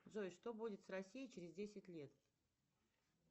джой что будет с россией через десять лет